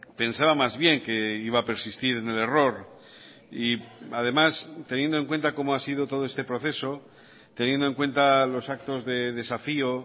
pensaba más bien que iba a persistir en el error y además teniendo en cuenta como ha sido todo este proceso teniendo en cuenta los actos de desafío